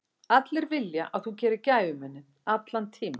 Allir vilja að þú gerir gæfumuninn, allan tímann.